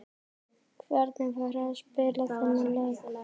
Hvernig var að spila þennan leik?